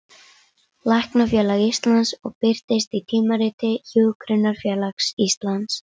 Læknafélags Íslands og birtist í Tímariti Hjúkrunarfélags Íslands.